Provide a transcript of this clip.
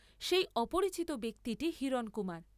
সেই অপরিচিত ব্যক্তিটি হিরণকুমার।